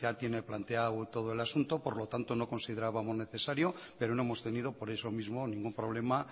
tienen planteado todo el asunto por lo tanto no considerábamos necesario pero no hemos tenido por eso mismo ningún problema